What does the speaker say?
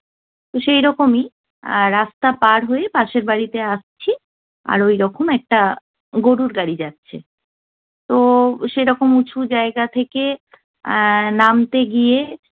তো সেরকমই আহ রাস্তা পার হয়ে পাশের বাড়িতে আসছি, আর ওইরকম একটা গরুর গাড়ি যাচ্ছে। তো সেরকম উঁচু জায়গা থেকে আহ নামতে গিয়ে